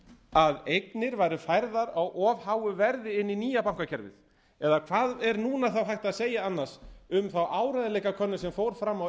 að eignir væru færðar á of háu verði inn í nýja bankakerfið eða hvað er núna hægt að segja annars um þá áreiðanleikakönnun sem fór fram á